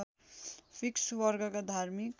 fix वर्गका धार्मिक